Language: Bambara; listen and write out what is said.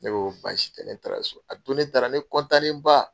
Ne ko ko baasi tɛ ne taara so a don ne taara ne nen ba.